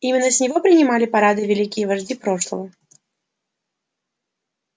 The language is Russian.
именно с него принимали парады великие вожди прошлого